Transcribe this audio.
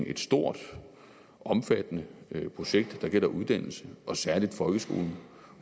et stort omfattende projekt der gælder uddannelse og særlig folkeskolen